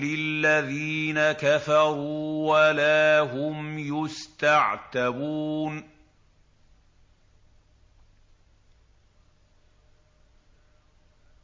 لِلَّذِينَ كَفَرُوا وَلَا هُمْ يُسْتَعْتَبُونَ